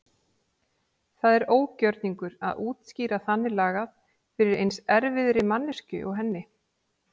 Það er ógjörningur að útskýra þannig lagað fyrir eins erfiðri manneskju og henni.